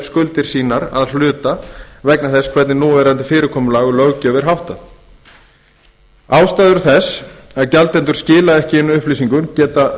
skuldir sínar að hluta vegna þess hvernig núverandi fyrirkomulagi um löggjöf er háttað ástæður þess að gjaldendur skila ekki inn upplýsingum geta